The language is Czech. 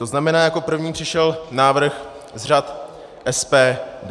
To znamená, jako první přišel návrh z řad SPD.